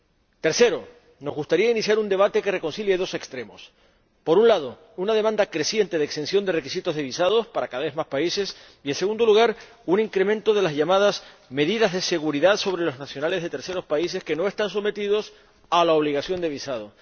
En tercer lugar, nos gustaría iniciar un debate que reconcilie dos extremos por un lado, una demanda creciente de exención de requisitos de visados —para un número cada vez mayor de países— y, por otro, un incremento de las llamadas medidas de seguridad con relación a los nacionales de terceros países que no están sometidos a la obligación de visado.